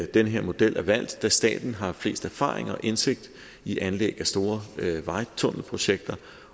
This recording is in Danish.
den her model er valgt da staten har flest erfaringer og større indsigt i anlæg af store vejtunnelprojekter